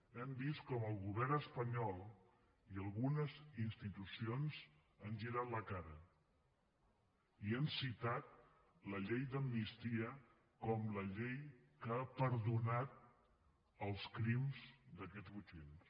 hem vist com el govern espanyol i algunes institucions han girat la cara i han citat la llei d’amnistia com la llei que ha perdonat els crims d’aquests botxins